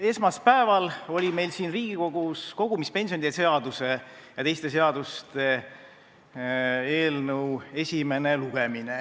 esmaspäeval oli Riigikogus kogumispensionide seaduse ja sellega seonduvalt teiste seaduste muutmise seaduse eelnõu esimene lugemine.